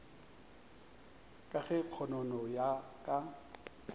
ka ge kgonono ya ka